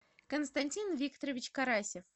константин викторович карасев